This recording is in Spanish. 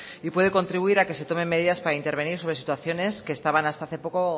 y puede contribuir a que se tomen medidas para intervenir sobre situaciones que estaban hasta hace poco